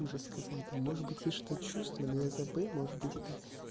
уже сказать может быть я что-то чувствую но я забыл может быть это